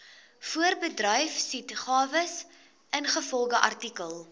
voorbedryfsuitgawes ingevolge artikel